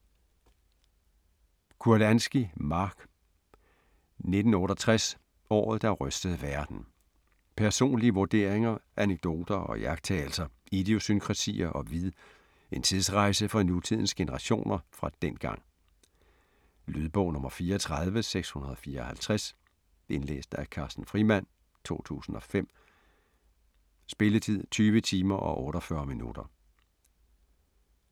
Kurlansky, Mark: 1968 - året der rystede verden Personlige vurderinger, anekdoter og iagttagelser, idiosynkrasier og vid, en tidsrejse for nutidens generationer fra dengang. Lydbog 34654 Indlæst af Carsten Frimand, 2005. Spilletid: 20 timer, 48 minutter.